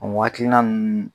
O hakilina ninnu